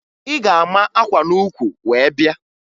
Ị ga-ama akwa n'ukwu wee bịa!